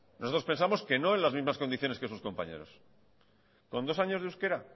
nosotros pensamos que no en las mismas condiciones que sus compañeros con dos años de euskera